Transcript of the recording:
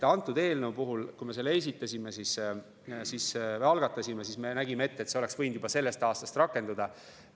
Antud eelnõu puhul, kui me selle algatasime, siis me nägime ette, et see oleks võinud juba sellest aastast rakenduda.